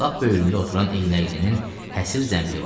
Lap böyrümdə oturan eynəklini həsir zənbili vardı.